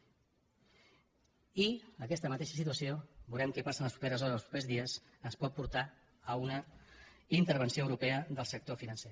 i aquesta mateixa situació veurem què passa en les properes hores en els propers dies ens pot portar a una intervenció europea del sector financer